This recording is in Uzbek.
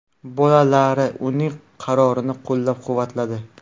Bolalari uning qarorini qo‘llab-quvvatladi.